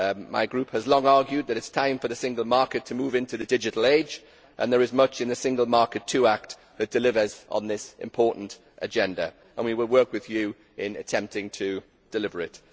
My group has long argued that it is time for the single market to move into the digital age and there is much in the Single Market 2 Act which delivers on this important agenda and we will work with you in attempting to deliver it.